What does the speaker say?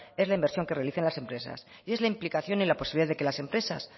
es la inversión que realicen las empresas y es la implicación y la posibilidad de que las empresa